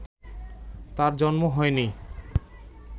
তাঁর জন্ম হয়নি